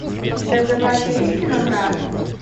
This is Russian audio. у тебя в запасе есть кино брат